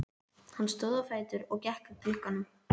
Hann stóð á fætur og gekk að glugganum.